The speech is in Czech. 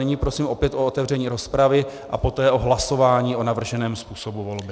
Nyní prosím opět o otevření rozpravy a poté o hlasování o navrženém způsobu volby.